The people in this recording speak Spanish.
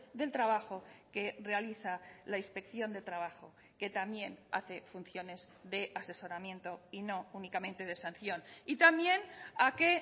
del trabajo que realiza la inspección de trabajo que también hace funciones de asesoramiento y no únicamente de sanción y también a que